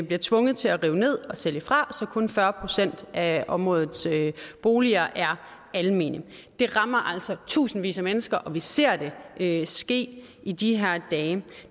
bliver tvunget til at rive ned og sælge fra så kun fyrre procent af områdets boliger er almene det rammer altså tusindvis af mennesker og vi ser det ske ske i de her dage